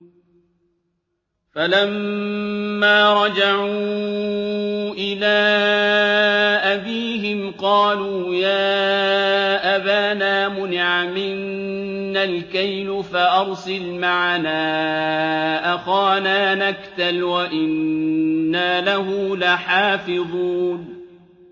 فَلَمَّا رَجَعُوا إِلَىٰ أَبِيهِمْ قَالُوا يَا أَبَانَا مُنِعَ مِنَّا الْكَيْلُ فَأَرْسِلْ مَعَنَا أَخَانَا نَكْتَلْ وَإِنَّا لَهُ لَحَافِظُونَ